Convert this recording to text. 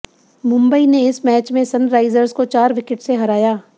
मुंबई ने इस मैच में सनराइजर्स को चार विकेट से हराया